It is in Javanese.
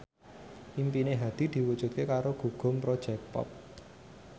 impine Hadi diwujudke karo Gugum Project Pop